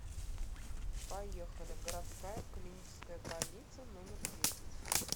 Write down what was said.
поехали городская клиническая больница номер десять